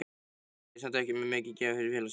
Nei, en ég er samt ekki mikið gefin fyrir félagsskap.